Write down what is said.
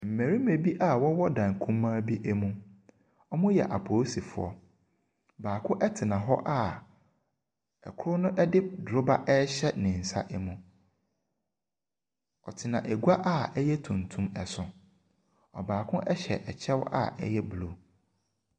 Mmarima bi a wɔwɔ dan kumaa bi mu. Wɔyɛ apolisifoɔ. Baako tena hɔ a koro no de doroba rehyɛ ne nsa mu. Ɔtena adwa a ɛyɛ tuntum so. Baako hyɛ ɛkyɛw a ɛyɛ blue.